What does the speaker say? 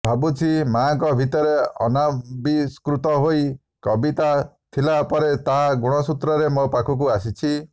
ଭାବୁଛି ମାଆଙ୍କ ଭିତରେ ଅନାବିଷ୍କୃତ ହୋଇ କବିତା ଥିଲା ପରେ ତାହା ଗୁଣସୂତ୍ରରେ ମୋ ପାଖକୁ ଆସିଛି